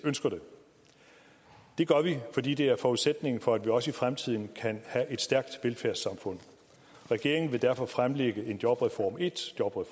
ønsker det det gør vi fordi det er forudsætningen for at vi også i fremtiden kan have et stærkt velfærdssamfund regeringen vil derfor fremlægge en jobreform en